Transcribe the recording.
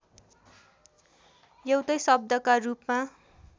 एउटै शब्दका रूपमा